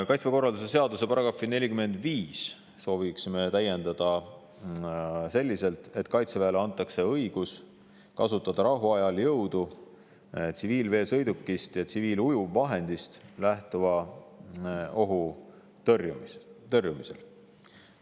Kaitseväe korralduse seaduse § 45 soovime täiendada selliselt, et Kaitseväele antakse õigus kasutada rahuajal jõudu tsiviilveesõidukist ja tsiviilujuvvahendist lähtuva ohu tõrjumisel.